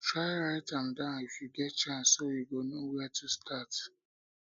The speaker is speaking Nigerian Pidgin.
try write am down if yu get chance so yu go no wia to start